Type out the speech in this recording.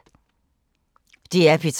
DR P3